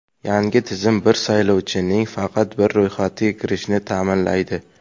Yangi tizim bir saylovchining faqat bir ro‘yxatga kiritilishini ta’minlaydi.